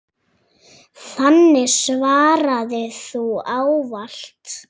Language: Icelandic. Þannig svaraði þú ávallt.